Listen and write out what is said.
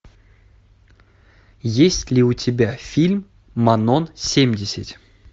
есть ли у тебя фильм манон семьдесят